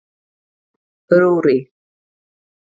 Rúrí